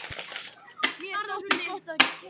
Mér þótti gott að heyra lætin í honum.